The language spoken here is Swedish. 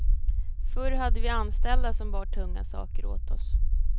Förr hade vi anställda som bar tunga saker åt oss.